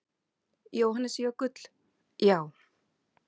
Jóhannes Jökull: Já.